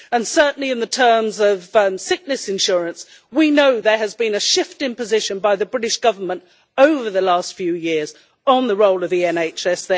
Certainly in terms of sickness insurance we know there has been a shift in position by the British Government over the last few years on the role of the NHS.